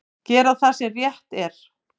Gera það sem rétt er.